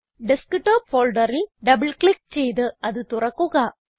desktop ഫോൾഡറിൽ double click ചെയ്ത് അത് തുറക്കുക